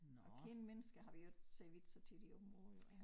Og kendte mennesker har vi jo ikke ser vi ikke så tit i området jo